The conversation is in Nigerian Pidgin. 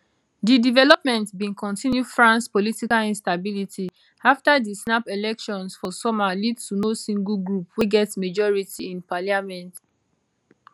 di development bin continue france political instability afta di snap elections for summer lead to no single group wey get majority in parliament